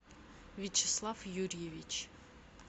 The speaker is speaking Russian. вячеслав юрьевич